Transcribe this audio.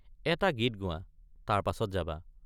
এটা গীত গোৱা তাৰ পাছত যাবা।